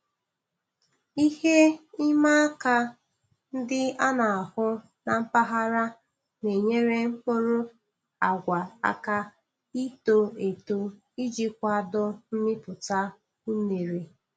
Ihe ịma aka ndị a na-ahụ na mpaghara na-enyere mkpụrụ agwa aka ito eto iji kwado mmịpụta unere